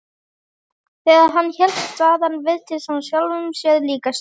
Þegar hann hélt þaðan virtist hann sjálfum sér líkastur.